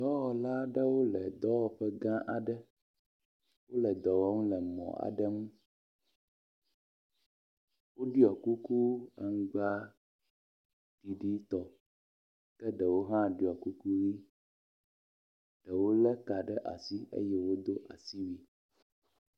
Dɔwɔla ɖewo le dɔwɔƒe gã aɖe. Wo le dɔ wɔm le mɔ aɖe ŋu. Woɖɔ kuku aŋgbaɖiɖi tɔ ke ɖewo hã ɖɔ kuku. Ɖewo le ka ɖe asi eye wodo asiwui.